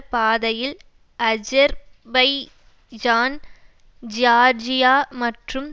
பாதையில் Azerbaijan Georgia மற்றும்